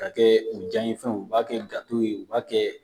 K'a kɛ u diyanfɛnw u b'a kɛ ye u b'a kɛ